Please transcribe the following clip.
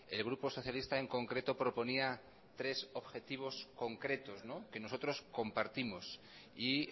el grupo socialista en concreto proponía tres objetivos concretos que nosotros compartimos y